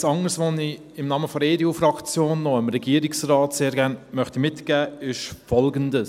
Etwas anderes, das ich im Namen der EDU-Fraktion dem Regierungsrat sehr gern mitgeben möchte, ist Folgendes: